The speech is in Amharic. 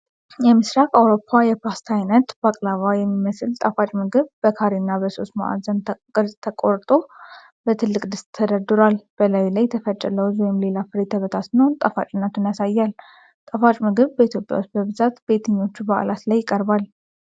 የምስራቅ አውሮፓ የፓስታ አይነት (ባክላቫ) የሚመስል ጣፋጭ ምግብ በካሬና በሶስት ማዕዘን ቅርፅ ተቆርጦ በትልቅ ድስት ተደርድሯል። በላዩ ላይ የተፈጨ ለውዝ ወይም ሌላ ፍሬ ተበታትኖ ጣፋጭነቱን ያሳያል። ጣፋጭ ምግብ በኢትዮጵያ ውስጥ በብዛት በየትኞቹ በዓላት ላይ ይቀርባል?